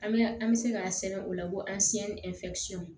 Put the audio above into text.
An bɛ an bɛ se k'a sɛbɛn o la ko